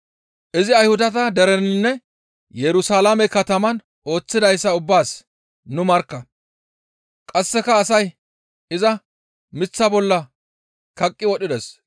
«Izi Ayhudata dereninne Yerusalaame kataman ooththidayssa ubbaas nu markka; qasseka asay iza miththa bolla kaqqi wodhides.